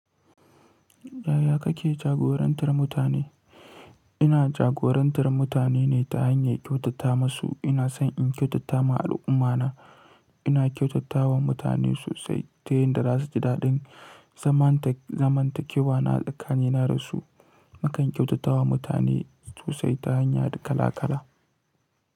Yaya kake jagorantar mutane? Ina jagorantar mutane ne ta hanyar kyautata masu. Ina son in kyautata ma al'ummana. Ina kyautata wa mutane sosai ta yadda za su ji dadin zamantakewa na da su Nakan kyautata wa mutane sosai ta hanya kala kala.